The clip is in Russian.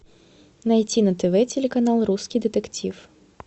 найти на тв телеканал русский детектив